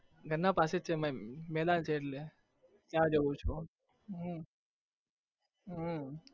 ઘરના પાસે જ છે મે મેદાન છે એટલે. ત્યાં જાઉં છુ હું હમ